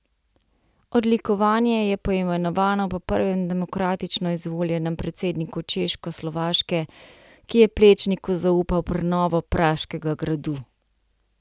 Odlikovanje je poimenovano po prvem demokratično izvoljenem predsedniku Češkoslovaške, ki je Plečniku zaupal prenovo Praškega gradu.